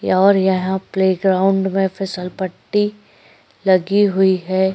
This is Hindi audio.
और यहाँ प्ले ग्राउंड में फिसल पट्टी लगी हुई है।